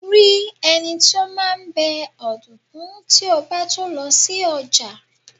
ri eni ti o maa n be odunkun ti o ba tun lo si oja